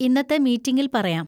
ഇന്നത്തെ മീറ്റിംഗിൽ പറയാം.